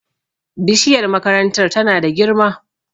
bishiyar makarantar tana da girma